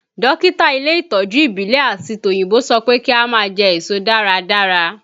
Dókítà ilé ìtọ́jú ìbílẹ̀ àti tòyìnbó sọ pé kí a máa jẹ èso dáradára